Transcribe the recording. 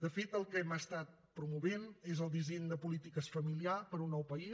de fet el que hem promogut és el disseny de polítiques familiars per a un nou país